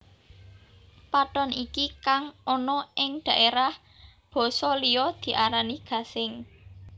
Pathon iki kang ana ing daerah basa liya diarani gasing